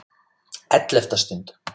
ELLEFTA STUND